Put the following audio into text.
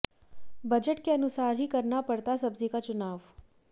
budget के अनुसार ही करना पड़ता सब्जी का चुनाव